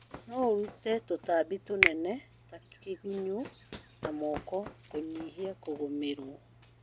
No ũrũte tũtambi tũnene ta kĩgunyu na moko kũnyihia kũgũmĩrwo